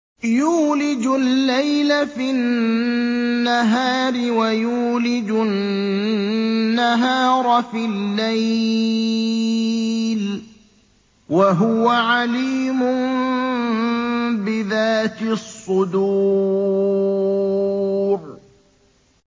يُولِجُ اللَّيْلَ فِي النَّهَارِ وَيُولِجُ النَّهَارَ فِي اللَّيْلِ ۚ وَهُوَ عَلِيمٌ بِذَاتِ الصُّدُورِ